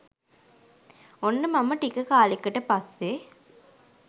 ඔන්න මම ටික කාලෙකට පස්සෙ